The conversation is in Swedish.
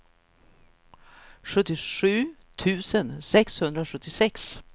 sjuttiosju tusen sexhundrasjuttiosex